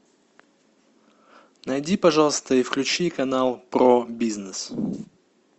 найди пожалуйста и включи канал про бизнес